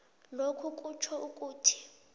lokhu kutjho ukuthi